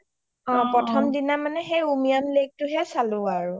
প্ৰথম দিনা মানে আৰু সেই উমিয়াম lake টোয়ে চালো আৰু